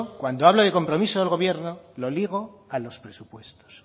cuando hablo de compromiso del gobierno lo ligo a los presupuestos